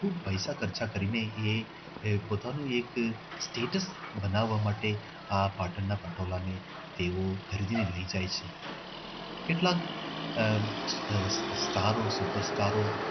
ખૂબ પૈસા ખર્ચા કરે છે અને એ પોતાનું એક status બનાવવા માટે આ પાટણના પટોળા ને તેઓ ખરીદીને લઇ જાય છે. કેટલાક આહ આહ સ્ટારો, સુપરસ્ટારો